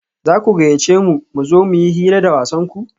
za ku gayyace mu mu zo mu yi hira da wasanku?